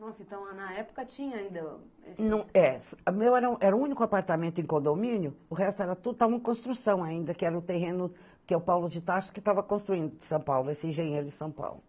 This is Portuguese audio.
Nossa, então na época tinha ainda esses... É, o meu era o era o único apartamento em condomínio, o resto era tudo, estava em construção ainda, que era o terreno que o Paulo de Tarso que estava construindo em São Paulo, esse engenheiro de São Paulo.